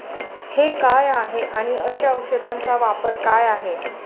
हे काय आहे आणि अशा औषधांचा वापर काय आहे?